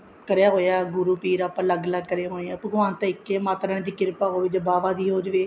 ਕਰਿਆ ਹੋਇਆ ਗੁਰੂ ਪੀਰ ਆਪਾਂ ਅੱਲਗ ਅਲੱਗ ਕਰੇ ਹੋਏ ਏ ਭਗਵਾਨ ਤਾਂ ਇੱਕ ਈ ਹੈ ਮਾਤਾ ਰਾਣੀ ਦੀ ਕਿਰਪਾ ਹੋਈ ਚਾਹੇ ਬਾਬਾ ਦੀ ਹੋ ਜਾਏ